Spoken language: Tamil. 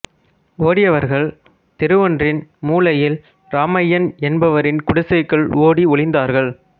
ஓடியவர்கள் தெருவொன்றின் மூலையில் ராமையன் என்பவரின் குடிசைக்குள் ஓடி ஒளிந்தார்கள்